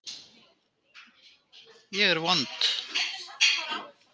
Ég var vond.